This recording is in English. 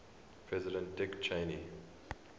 president dick cheney